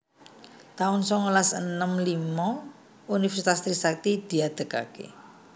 taun songolas enem limo Universitas Trisakti diadegaké